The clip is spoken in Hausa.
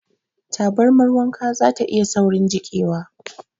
Tabarmar wanka zata iya saurin jiƙewa.